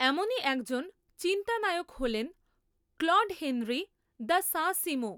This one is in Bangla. এমনই একজন চিন্তানায়ক হলেন ক্লড হেনরী দ্য সাঁ সিঁমো।